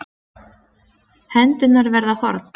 Hendurnar verða horn.